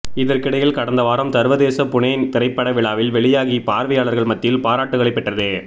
இதற்கிடையில் கடந்தவாரம் சர்வதேச புனே திரைப்பட விழாவில் வெளியாகி பார்வையாளர்கள் மத்தியில் பாராட்டுக்களை பெற்றது